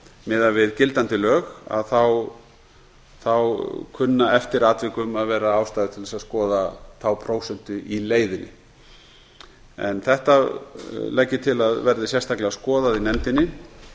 miðað við gildandi lög kunni eftir atvikum að vera ástæða til að skoða þá prósentu í leiðinni þetta legg ég til að verði sérstaklega skoðað